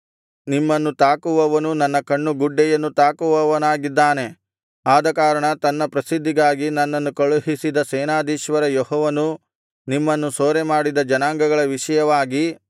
ನಿಮ್ಮನ್ನು ತಾಕುವವನು ನನ್ನ ಕಣ್ಣು ಗುಡ್ಡೆಯನ್ನು ತಾಕುವವನಾಗಿದ್ದಾನೆ ಆದಕಾರಣ ತನ್ನ ಪ್ರಸಿದ್ಧಿಗಾಗಿ ನನ್ನನ್ನು ಕಳುಹಿಸಿದ ಸೇನಾಧೀಶ್ವರ ಯೆಹೋವನು ನಿಮ್ಮನ್ನು ಸೂರೆಮಾಡಿದ ಜನಾಂಗಗಳ ವಿಷಯವಾಗಿ